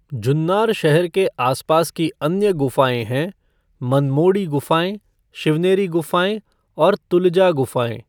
जुन्नर शहर के आसपास की अन्य गुफाएँ हैं मनमोडी गुफाएँ, शिवनेरी गुफाएँ और तुलजा गुफाएँ।